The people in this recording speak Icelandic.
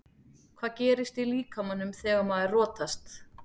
Hvað gerist í líkamanum þegar maður rotast?